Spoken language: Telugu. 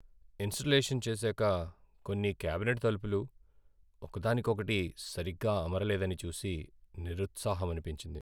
ఇన్స్టలేషన్ చేసాక కొన్ని క్యాబినెట్ తలుపులు ఒక దానికొకటి సరిగ్గా అమరలేదని చూసి నిరుత్సాహమనిపించింది.